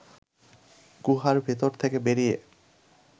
গুহার ভেতর থেকে বেরিয়ে